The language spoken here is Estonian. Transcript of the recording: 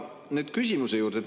Aga nüüd küsimuse juurde.